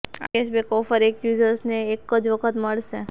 આ cashback offer એક યૂઝરને એક જ વખત મળશે